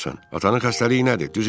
Atanın xəstəliyi nədir, düzünü de.